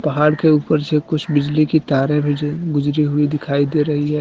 पहाड़ के ऊपर से कुछ बिजली की तारें भी ये गुजरी हुई दिखाई दे रही है।